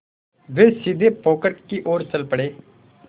वे सीधे पोखर की ओर चल पड़े